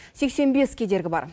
сексен бес кедергі бар